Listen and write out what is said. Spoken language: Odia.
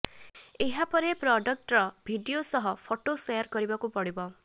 ଏହା ପରେ ପ୍ରଡକ୍ଟର ଭିଡିଓ ସହ ଫଟୋ ସେୟାର କରିବାକୁ ପଡ଼ିବ